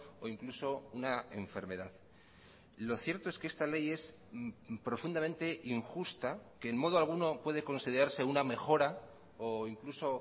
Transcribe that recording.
o incluso una enfermedad lo cierto es que esta ley es profundamente injusta que en modo alguno puede considerarse una mejora o incluso